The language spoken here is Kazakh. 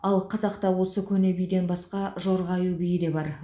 ал қазақта осы көне биден басқа жорға аю биі де бар